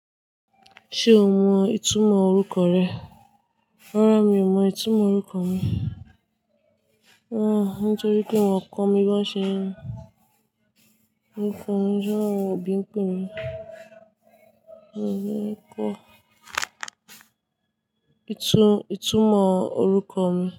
Ṣe o mọ itumọ orukọ rẹ? Rara, mi o mọ itumọ orukọ mi. Nitoripe wọn kọ mi bọ ṣe n. Orukọ mi jẹ oun òbí n pe mi. Mi ò le kọ ìtumọ̀ orúkọ mi.